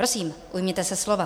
Prosím, ujměte se slova.